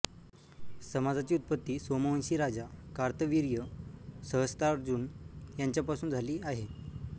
समाजाची ऊत्पत्ती सोमवंशी राजा कार्तविर्य सह्स्त्रार्जुन याच्या पासुन झाली आहे